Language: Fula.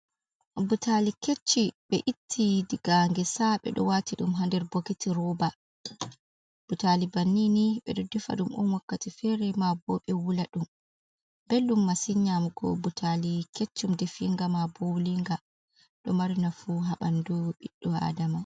Butali kecci, be itti diga ngesa be do wati dum haader boketi roba. butali bannini be do difa ɗum on wakkati fere ma bo, be wula ɗum boɗdum masin nyamugo butali keccum, defiiga ma bo wulinga do mari na fu ha banduo ɓiɗɗo adama.